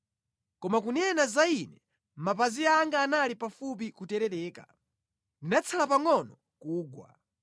Koma kunena za ine, mapazi anga anali pafupi kuterereka; ndinatsala pangʼono kugwa.